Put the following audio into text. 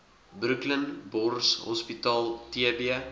brooklyn borshospitaal tb